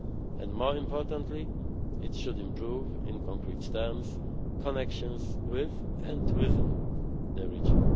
the region. And, more importantly, it should improve, in concrete terms, connections with and within the region.